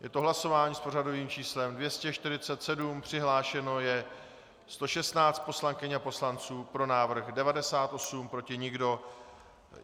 Je to hlasování s pořadovým číslem 247, přihlášeno je 116 poslankyň a poslanců, pro návrh 98, proti nikdo.